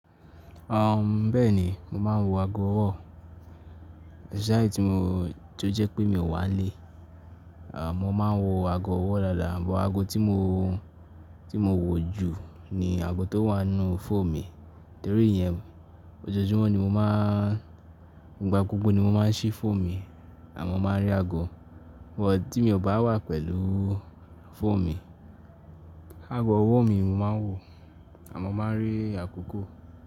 Ah, bẹ́ẹ̀ ni, mo máa ń wo aago ọwọ́, especially tí mo tó jẹ́ pé mi ò wà n lé, à mo máa ń wo aago ọwọ́ lala, but aago tí mo, tí mo wò jù ni aago tó wà nnú fone mì torí yẹn ọjọ́júmọ́ ni mo máa ń, nígbà gbogbo ni mo máa ń ṣí one mì àmo máa ń rí aago. But tí mi ò bá wà pẹ̀lú fone mì, aago ọwọ́ mi mo máa ń wò àmọ́ mo máa ń rí àkókò.